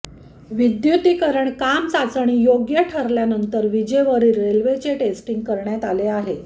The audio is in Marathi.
विद्युतीकरण काम चाचणीयोग्य ठरल्यानंतर विजेवरील रेल्वेचे टेस्टिंग करण्यात आले आहे